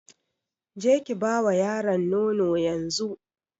Ki je Ki ba wa yaron nono yanzu.